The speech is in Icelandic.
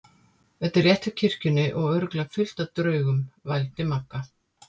Þetta er rétt hjá kirkjunni og örugglega fullt af draugum. vældi Magga.